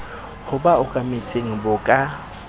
ho ba okametseng bo ka